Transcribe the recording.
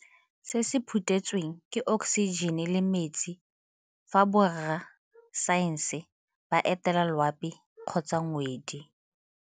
Se se phuthetsweng, ke okosijene le metsi fa borra saense ba etela loapi kgotsa ngwedi.